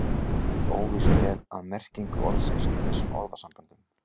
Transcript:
óvíst er um merkingu orðsins í þessum orðasamböndum